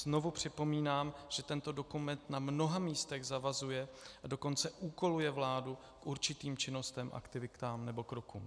Znovu připomínám, že tento dokument na mnoha místech zavazuje, a dokonce úkoluje vládu k určitým činnostem, aktivitám nebo krokům.